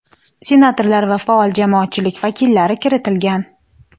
senatorlar va faol jamoatchilik vakillari kiritilgan.